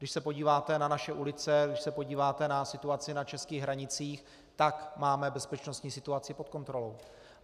Když se podíváte na naše ulice, když se podíváte na situaci na českých hranicích, tak máme bezpečnostní situaci pod kontrolou.